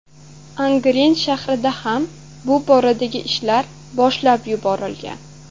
Angren shahrida ham bu boradagi ishlar boshlab yuborilgan.